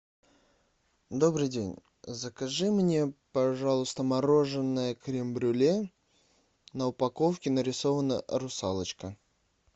добрый день закажи мне пожалуйста мороженое крем брюле на упаковке нарисована русалочка